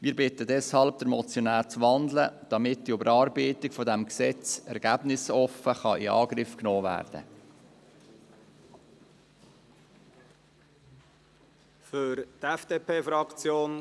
Deshalb bitten wir den Motionär, den Vorstoss zu wandeln, damit die Überarbeitung des Gesetzes ergebnisoffen in Angriff genommen werden kann.